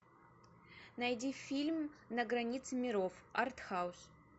найди фильм на границе миров артхаус